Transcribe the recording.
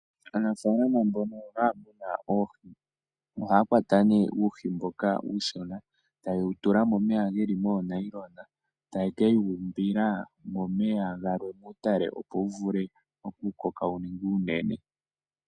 Aanafalama mbono haya munu oohi, ohaya kwata nee uuhi mboka uushona, taye wutula momeya geli moonayilona, taye kewu umbila momeya galwe geli muutale, opo wuvule okukoka wuninge uunene.